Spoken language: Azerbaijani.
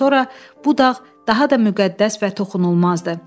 Bundan sonra bu dağ daha da müqəddəs və toxunulmazdı.